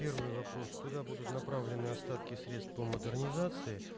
первый вопрос куда будут направлены остатки средств по модернизации